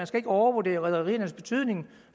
skal overvurdere rederiernes betydning